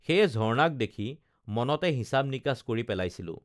সেয়ে ঝৰ্ণাক দেখি মনতে হিচাপ নিকাচ কৰি পেলাইছিলো